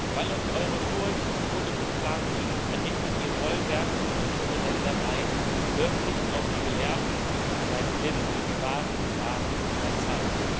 Weil euch eure Furcht so in Beschlag nimmt, errichtet ihr Bollwerke um unsere Ländereien, hört nicht auf die Gelehrten und seid blind für die wahren Gefahren unserer Zeit.